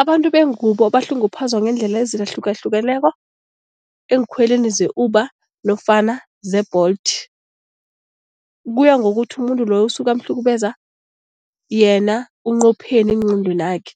Abantu bengubo bahlunguphazwa ngeendlela ezihlukahlukeneko eenkhweleni ze-Uber nofana ze-Bolt, kuya ngokuthi umuntu loyo usuke amhlukumeza yena unqopheni engqondwenakhe.